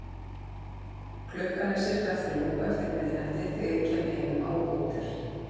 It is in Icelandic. Klukkan er sirka þrjú eftir miðnætti þegar ég kem heim á hótel.